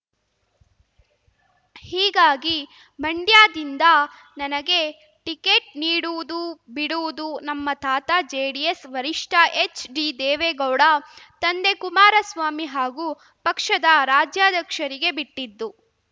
ಹೀಗಾಗಿ ಮಂಡ್ಯದಿಂದ ನನಗೆ ಟಿಕೆಟ್‌ ನೀಡುವುದು ಬಿಡುವುದು ನಮ್ಮ ತಾತ ಜೆಡಿಎಸ್‌ ವರಿಷ್ಠ ಎಚ್‌ಡಿದೇವೇಗೌಡ ತಂದೆ ಕುಮಾರಸ್ವಾಮಿ ಹಾಗೂ ಪಕ್ಷದ ರಾಜ್ಯಾಧ್ಯಕ್ಷರಿಗೆ ಬಿಟ್ಟಿದ್ದು